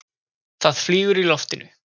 Það flýgur í loftinu.